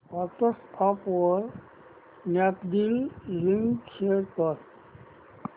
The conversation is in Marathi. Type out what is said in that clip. व्हॉट्सअॅप वर स्नॅपडील लिंक शेअर कर